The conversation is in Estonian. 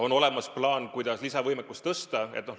On olemas plaan, kuidas lisavõimekust suurendada.